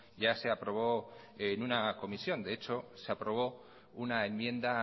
ya se aprobó en una comisión de hecho se aprobó una enmienda